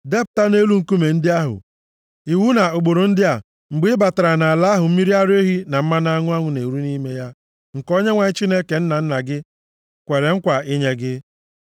Depụta nʼelu nkume ndị ahụ iwu na ụkpụrụ ndị a mgbe ị batara nʼala ahụ mmiri ara ehi na mmanụ aṅụ na-eru nʼime ya, nke Onyenwe anyị Chineke nna nna gị kwere nkwa inye gị.